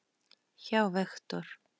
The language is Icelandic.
hjá Vektor.